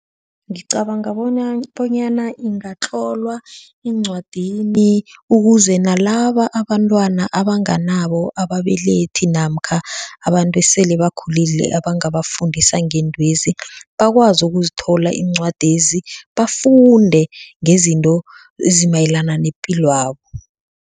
Ngicabanga bonyana ingatlolwa eencwadini ukuze nalaba abantwana abanganabo ababelethi namkha abantu esele bakhulile abangabafundisa ngeentwezi bakwazi ukuzithola iincwadezi bafunde ngezinto ezimayelana nepilwabo.